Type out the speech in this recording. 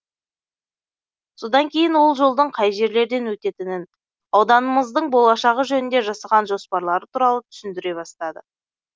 содан кейін ол жолдың қай жерлерден өтетінін ауданымыздың болашағы жөнінде жасаған жоспарлары туралы түсіндіре бастады